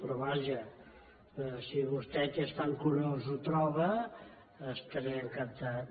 però vaja si vostè que és tan curós ho troba estaré encantat